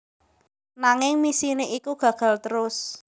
Nanging misine iku gagal trus